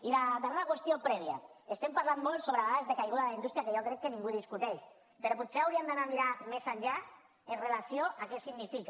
i la darrera qüestió prèvia estem parlant molt sobre dades de caiguda de la indústria que jo crec que ningú discuteix però potser hauríem d’anar a mirar més enllà amb relació a què significa